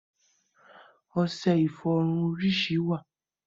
Ọṣẹ ìfọrun orísìí wà